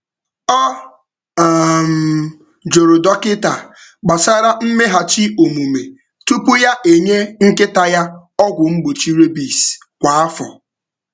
Ọ um jụrụ dọkịta gbasara mmeghachi omume tupu ya enye nkịta ya ọgwụ mgbochi rabies kwa afọ.